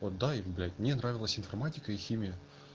отдай мне нравилось информатика и химия